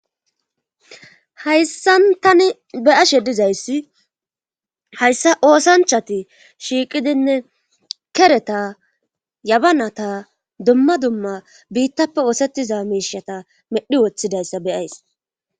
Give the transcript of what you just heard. Hayssan tani beyashe dizayssi hayssa oosanchati shiiqidinne kereta yabanata dumma dumma biittappe oosettiza miishata medhi woththidayssa be'ays.